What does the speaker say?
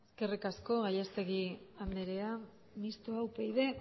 eskerrik asko gallastegui anderea mistoa upyd